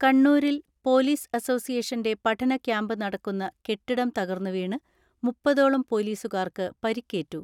കണ്ണൂരിൽ പോലീസ് അസോസിയേഷന്റെ പഠന ക്യാമ്പ് നടക്കുന്ന കെട്ടിടം തകർന്നുവീണ് മുപ്പതോളം പോലീസുകാർക്ക് പരുക്കേറ്റു.